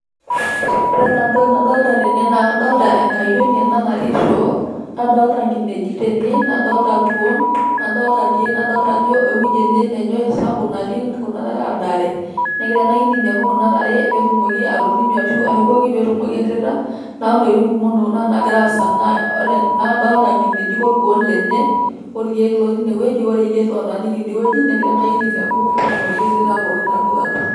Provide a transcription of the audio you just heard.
ore enaa entoki nadolita tane naa kadolita enkayioni natii shoo nadolta enkinejik, nadolta irkuo ,naakadolta ajo keleng ene oleng' negira naa engayioni arinyu inkishu.